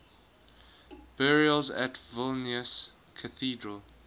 burials at vilnius cathedral